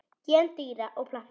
Gen dýra og plantna